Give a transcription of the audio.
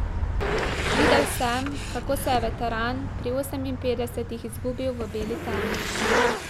Videl sem, kako se je veteran pri oseminpetdesetih izgubil v beli temi.